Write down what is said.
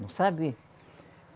Não sabe?